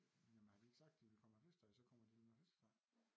Jamen har de ikke sagt de vil komme med flæskesteg så kommer de vel med flæskesteg